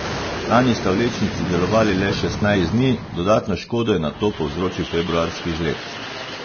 Lani sta vlečnici delovali le šestnajst dni, dodatno škodo je nato povzročil februarski žled.